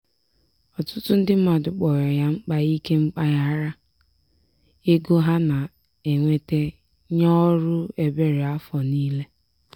ọtụtụ ndị mmadụ kpọrọ ya mkpa ike mpaghara ego ha na-enweta nye ọrụ ebere afọ niile.